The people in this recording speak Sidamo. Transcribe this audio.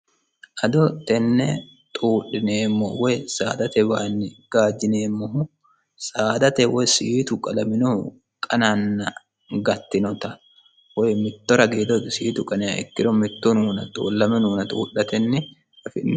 ado tenne xuudhineemmo woy saadate waanni gaajjineemmohu saadate woy siitu qalaminohu qananna gattinota woy mitto ragiido siitu qaniha ikkiro mitto xuudhatenni afi'neemo